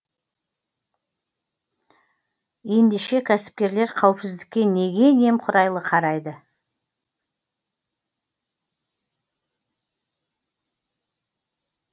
ендеше кәсіпкерлер қауіпсіздікке неге немқұрайлы қарайды